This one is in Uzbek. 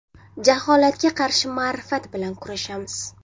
Jaholatga qarshi ma’rifat bilan kurashamiz!